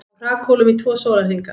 Á hrakhólum í tvo sólarhringa